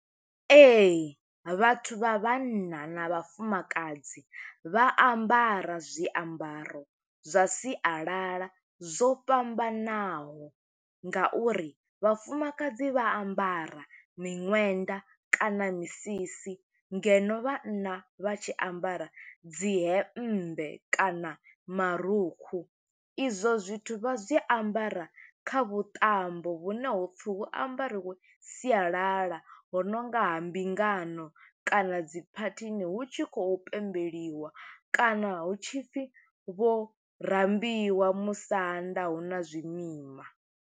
Ee, vhathu vha vhanna na vhafumakadzi vha ambara zwiambaro zwa sialala zwo fhambanaho, nga uri vhafumakadzi vha ambara miṅwenda kana misisi. ngeno vhanna vha tshi ambara dzi hembe kana marukhu. Izwo zwithu vha zwi ambara kha vhuṱambo vhune ho pfi hu ambariwe sialala, ho nonga ha mbingano, kana dzi phathini. Hu tshi khou pembeliwa, kana hu tshi pfi vho rambiwa musanda, huna zwimima.